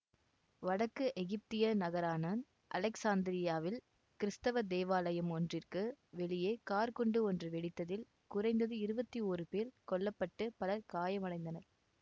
வடக்கு எகிப்திய நகரான அலெக்சாந்திரியாவில் கிறித்தவத் தேவாலயம் ஒன்றிற்கு வெளியே கார்க் குண்டு ஒன்று வெடித்ததில் குறைந்தது இருபத்தி ஓரு பேர் கொல்ல பட்டு பலர் காயமடைந்தனர்